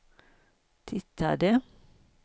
tittade